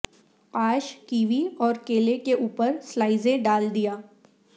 قاش kiwi اور کیلے کے اوپر سلائسین ڈال دیا